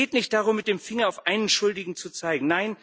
Es geht nicht darum, mit dem Finger auf einen Schuldigen zu zeigen.